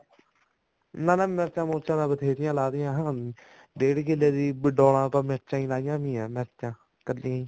ਨਾ ਨਾ ਮਿਰਚਾਂ ਮੁਰਚਾ ਤਾਂ ਬਥੇਰੀਆਂ ਲਾ ਰੱਖੀਆਂ ਡੇਡ ਕਿੱਲੇ ਦੀਆਂ ਡੋਲਾ ਪਾ ਮਿਰਚਾਂ ਹੀ ਲਈਆਂ ਹੋਈਆਂ ਮਿਰਚਾਂ ਕੱਲੀਆਂ ਹੀ